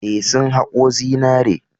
Eh, sun haƙo zinare.